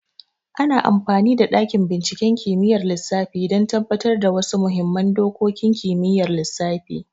Ana amfani da dakin binciken kimiyyar lissafi don tabbatar da wasu muhimman dokokin kimiyyar lissafi.